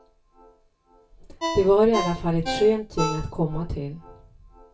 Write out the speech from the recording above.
Det var i alla fall ett skönt gäng att komma till.